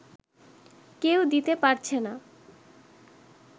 কেউ দিতে পারছে না